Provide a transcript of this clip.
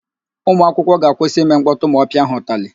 Ụmụakwụkwọ ga-akwụsị ime mkpọtụ ma ọ pịa ha ụtalị.